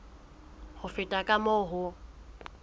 ho feta ka moo ho